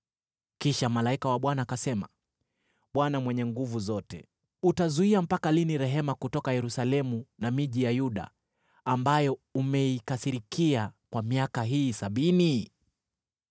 Kisha malaika wa Bwana akasema, “ Bwana Mwenye Nguvu Zote, utazuia mpaka lini rehema kutoka Yerusalemu na miji ya Yuda, ambayo umeikasirikia kwa miaka hii sabini?”